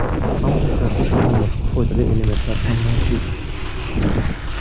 Ammo kartoshkada boshqa foydali elementlar ham mavjud.